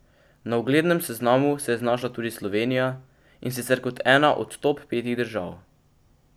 Na uglednem seznamu se je znašla tudi Slovenija, in sicer kot ena od top petih držav.